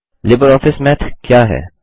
LibreOffice Math क्या है